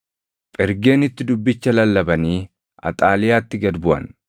Phergeenitti dubbicha lallabanii Axaaliyaatti gad buʼan.